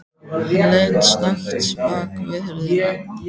Hann leit snöggt bak við hurðina.